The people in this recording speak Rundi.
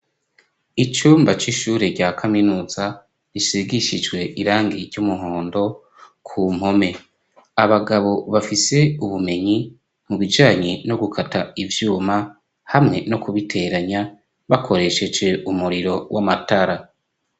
Icumba c'ishure rya kaminuza risigishijwe irangi ry'umuhondo ku mpome, abagabo bafise ubumenyi mu bijanye no gukata ivyuma hamwe no kubiteranya bakoresheje umuriro w'amatara.